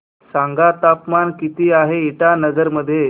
सांगा तापमान किती आहे इटानगर मध्ये